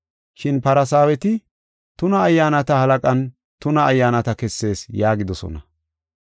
Shin Farsaaweti, “Tuna ayyaanata halaqan tuna ayyaanata kessees” yaagidosona.